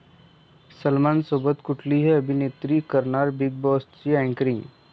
सलमानसोबत कुठली अभिनेत्री करणार 'बीग बॉस'चं अँकरींग?